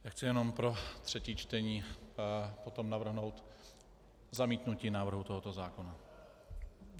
Já chci jenom pro třetí čtení potom navrhnout zamítnutí návrhu tohoto zákona.